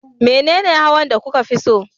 Menene hawan da kuka fi so?